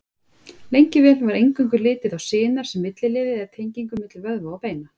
Lengi vel var eingöngu litið á sinar sem milliliði eða tengingu milli vöðva og beina.